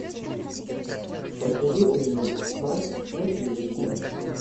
посоветуй мне спас на телевизоре